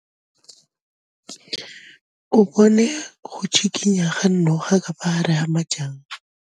O bone go tshikinya ga noga ka fa gare ga majang.